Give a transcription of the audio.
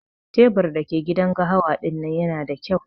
Tebur da ke gidan gahawa dinnan Yana da kyau.